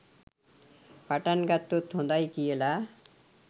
පටන්ගත්තොත් හොඳයි කියලා.